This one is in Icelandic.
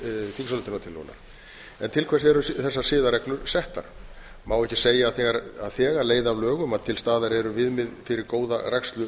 þingsályktunartillögunnar til hvers eru þessar siðareglur settar má ekki segja að þegar leiði af lögum að til staðar eru viðmið fyrir góða rækslu